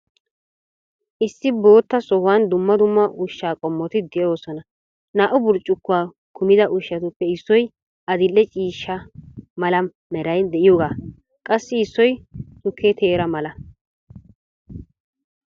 Issi bootta sohuwan dumma dumma ushshaa qommoti de'oosona. Naa"u burccukkuwa kummida ushshatuppe issoy addil"ee ciishsha mala meray de'iyogaa qassi issoy tukke teera mala.